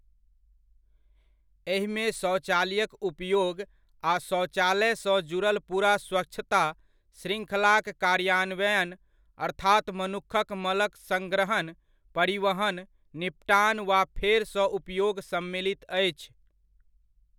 एहिमे शौचालयक उपयोग आ शौचालयसँ जुड़ल पूरा स्वच्छता श्रृङ्खलाक कार्यान्वयन, अर्थात मनुखक मलक संग्रहण, परिवहन, निपटान वा फेरसँ उपयोग सम्मिलित अछि।